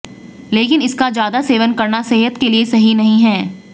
लेकिन इसका ज्यादा सेवन करना सेहत के लिए सही नहीं है